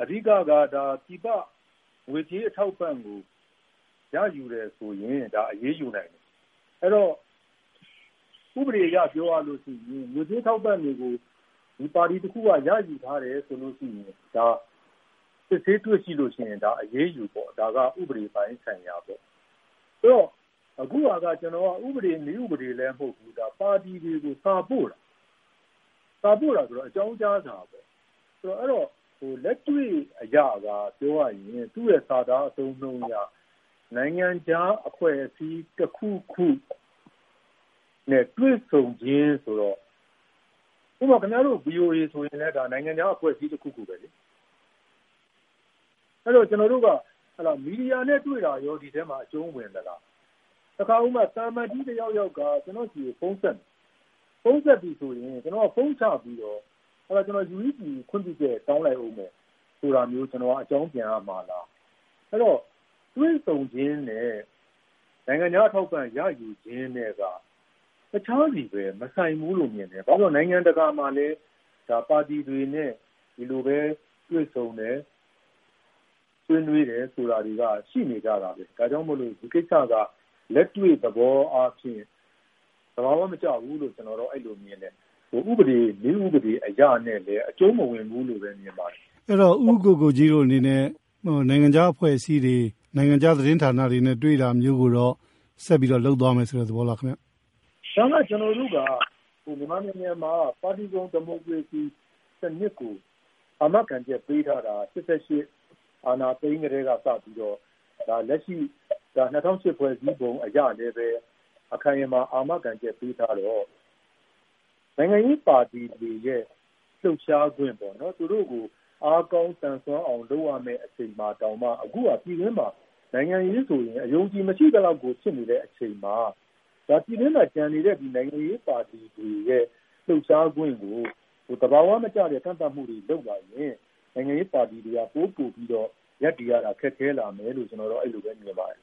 အဓိက-က ပြည်ပငွေကြေးအထောက်အပံ့ကို ရယူတယ်ဆိုရင် ဒါ အရေးယူနိုင်တယ်။ အဲဒီတော့ ဥပဒေအရပြောရလို့ရှိရင် ငွေကြေးအထောက်အပံ့တွေကို ပါတီတခုက ရယူထားတယ်ဆိုလို့ရှိရင်၊ စစ်ဆေးတွေ့ရှိလို့ရှိရင် ဒါ အရေးယူပေါ့။ ဒါက ဥပဒေပိုင်းဆိုင်ရာပေါ့။ ဆိုတော့ အခုဟာက ဥပဒေ နည်းဥပဒေလည်းမဟုတ်ဘူး။ ပါတီတွေကို စာပို့တာ။ စာပို့တာဆိုတော့ အကြောင်းကြားစာပေါ့။ အဲဒီတော့ လက်တွေ့အရသာပြောရရင် သူ့ရဲ့စာသားအသုံးအနှုန်းတွေက “နိုင်ငံခြားအဖွဲ့အစည်းတခုခုနဲ့ တွေ့ဆုံခြင်း” ဆိုတော့ ဥပမာ-ခင်ဗျားတို့ ဗွီအိုအေဆိုရင် နိုင်ငံခြားက အဖွဲ့အစည်းတခုခုပဲလေ။ အဲဒီတော့ ကျနော်တို့က မီဒီယာတွေနဲ့တွေ့တာရော ဒီထဲမှာ အကျုံးဝင်သလား၊ ဥပမာ သံအမတ်ကြီးတယောက်ယောက်က ကျနော့်ဆီကို ဖုံးဆက်မယ်၊ ဖုံးဆက်ပြီဆိုရင် ကျနော်က ဖုံးချပြီးတော့ “ကျနော် UEC ကို ခွင့်ပြုချက်တောင်းလိုက်အုံးမယ်” ဆိုပြီး အကြောင်းပြန်ရမှာလား။ အဲဒီတော့ တွေ့ဆုံခြင်းနဲ့ နိုင်ငံခြားအထောက်အပံ့ရယူခြင်းနဲ့က တခြားစီပဲ၊ မဆိုင်ဘူးလို့မြင်တယ်။ ဘာဖြစ်လို့လဲဆိုတော့ နိုင်ငံတကာမှာလည်း ပါတီတွေနဲ့ ဒီလိုပဲ တွေ့ဆုံတယ်၊ ဆွေးနွေးတယ်ဆိုတာတွေက ရှိနေကြတာပဲ။ ဒါကြောင့်မို့လို့ ဒီကိစ္စက လက်တွေ့သဘောအားဖြင့် သဘာဝမကျဘူးလို့ ကျနော်က အဲလိုမြင်တယ်။ ဥပဒေ နည်းဥပဒေအရနဲ့လည်း အကျုံးမဝင်ဘူးလို့ပဲ မြင်ပါတယ်။ အဲဒီတော့ ဦးကိုကိုကြီးတို့အနေနဲ့ နိုင်ငံခြားအဖွဲ့အစည်းတွေ၊ နိုင်ငံခြားသတင်းဌာနတွေနဲ့ တွေ့တာမျိုးကိုတော့ ဆက်ပြီးတော့ လုပ်သွားမယ် ဆိုတဲ့သဘောလားခင်ဗျ။ ဒါက ကျနော်တို့က မြန်မာနိုင်ငံမှာ ပါတီစုံဒီမိုကရေစီစနစ်ကို အာမခံချက်ပေးထားတာက ၈၈ အာဏာသိမ်းကတည်းကစပြီး လက်ရှိ ၂၀၀၈ ဖွဲ့စည်းပုံအရလည်းပဲ အခိုင်အမာ အာမခံချက်ပေးထားတော့ နိုင်ငံရေးပါတီတွေရဲ့ လှုပ်ရှားခွင့်-ပေါ့နော်၊ သူတို့ကို အားကောင်း သန်စွမ်းအောင်လုပ်ရမယ့်အချိန်မှာတောင်မှ အခုက နိုင်ငံရေးဆိုရင် အယုံအကြည်မရှိသလောက်ကို ဖြစ်နေတဲ့အချိန်မှာ ပြည်တွင်းမှာကျန်နေတဲ့ နိုင်ငံရေးပါတီတွေရဲ့ လှုပ်ရှားခွင့်ကို သဘာဝမကျတဲ့ကန့်သတ်မှုတွေလုပ်လာရင် နိုင်ငံရေးပါတီတွေက ပိုပိုပြီးတော့ ရပ်တည်ရတာ ခက်ခဲလာမယ်လို့ ကျနော်တော့ အဲဒီလိုပဲမြင်ပါတယ်